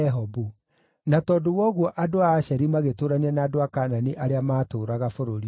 na tondũ wa ũguo andũ a Asheri magĩtũũrania na andũ a Kaanani arĩa maatũũraga bũrũri ũcio.